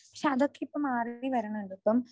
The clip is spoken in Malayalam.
പക്ഷേ അതൊക്കെ ഇപ്പോൾ മാറി വരുന്നുണ്ട്. ഇപ്പം